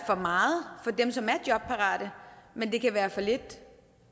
for meget for dem som er jobparate men det kan være for lidt